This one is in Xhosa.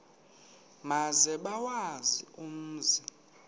maze bawazi umzi